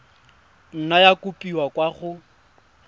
nna ya kopiwa kwa go